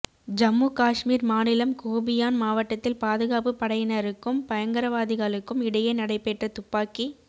ஜம்மு காஷ்மீர் மாநிலம் சோபியான் மாவட்டத்தில் பாதுகாப்பு படையினருக்கும் பயங்கரவாதிகளுக்கும் இடையே நடைபெற்ற துப்பாக்கி